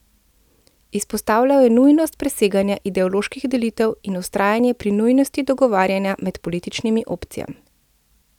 Izpostavljal je nujnost preseganja ideoloških delitev in vztrajanje pri nujnosti dogovarjanja med političnimi opcijami.